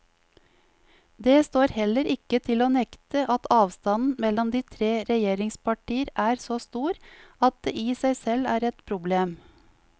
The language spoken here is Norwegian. Det står heller ikke til å nekte at avstanden mellom de tre regjeringspartier er så stor at det i seg selv er et problem.